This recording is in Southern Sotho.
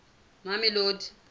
mamelodi